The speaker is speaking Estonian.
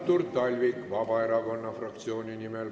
Artur Talvik Vabaerakonna fraktsiooni nimel.